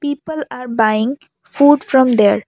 people are buying food from there.